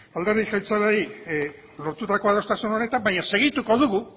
alderdi jeltzaleari lortutako adostasun honetan baina segituko dugu